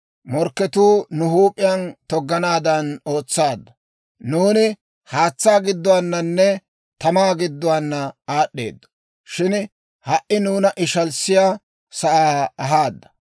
Morkketuu nu huup'iyaan togganaadan ootsaadda. Nuuni haatsaa gidduwaananne tamaa gidduwaana aad'd'eedo; shin ha"i nuuna ishaliyaa sa'aa ahaadda.